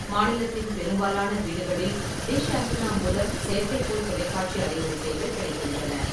மாநிலத்தின் பெரும்பாலான வீடுகளில் டிஷ் ஆண்டெனா மூலம் செயற்கைக்கோள் தொலைக்காட்சி அலைவரிசைகள் கிடைக்கின்றன.